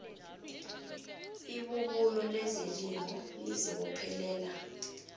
ibubulo lezelimo lizibophelela